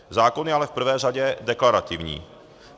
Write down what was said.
Zákon je ale v prvé řadě deklarativní.